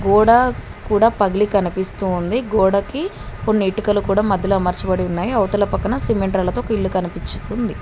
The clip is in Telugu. గోడ కూడ పగిలి కనిపిస్తోంది గోడకి కొన్ని ఇటుకలు కూడా మధ్యలో అమర్చబడి ఉన్నాయి అవతల పక్కన సిమెంట్ రాళ్లతో ఒక ఇల్లు కనిపిస్తుంది.